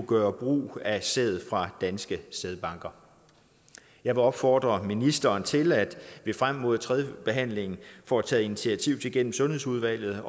gøre brug af sæd fra danske sædbanker jeg vil opfordre ministeren til at vi frem mod tredjebehandlingen får taget initiativ til gennem sundhedsudvalget